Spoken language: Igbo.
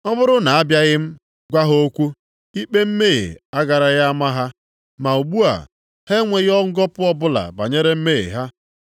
Ọ bụrụ na abịaghị m, gwa ha okwu, ikpe mmehie agaraghị ama ha. Ma ugbu a, ha enweghị ngọpụ ọbụla banyere mmehie ha.